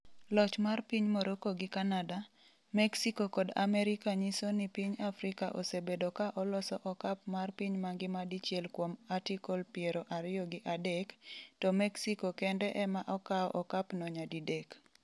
Loch mar piny Morocco gi Canada, Mexico kod Amerika nyiso ni piny Afrika osebedo ka oloso okap mar piny mangima dichiel kuom Artikle piero ariyo gi adek, to Mexico kende ema okao okapno nyadidek.